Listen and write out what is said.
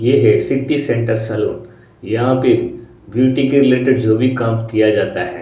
ये है city centre saloon यहां पे ब्यूटी के रिलेटेड जो भी काम किया जाता है।